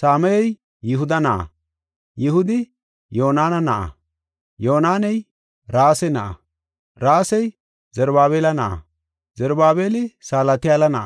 Samayey Yihuda na7a, Yihudi Yonaana na7a, Yoonaney Rase na7a, Rasey Zarubaabela na7a, Zarubaabeli Salatiyaala na7a,